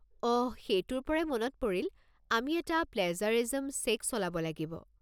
অহ! সেইটোৰ পৰাই মনত পৰিল, আমি এটা প্লেজাৰিজিম চেক চলাব লাগিব।